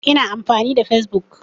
Ina amfani da fesbuk.